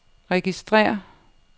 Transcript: registrér